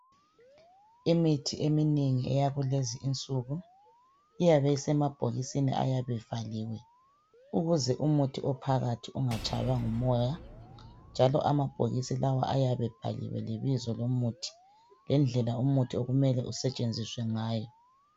Imithi eminengi eyakulezi insuku iyabe isemabhokisini ayabe evaliwe ukuze umuthi ophakathi ungatshaywa ngumoya njalo amabhokisi lawa ayabe ebhaliwe lebizo lomuthi lendlela umuthi okumele usetshenziswe ngayo.